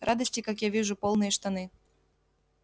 радости как я вижу полные штаны